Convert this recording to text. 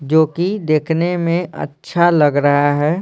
जो कि देखने में अच्छा लग रहा है।